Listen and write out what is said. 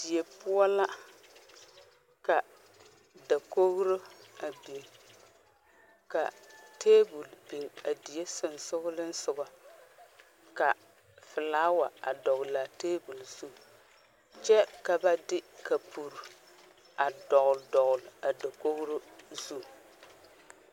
Die poɔ la ka daogro a biŋ ka table biŋ a die sensogliŋsogɔ ka flower a dɔglaa table zu kyɛ ba de kapure a dɔgle dɔgle a dakogro zu .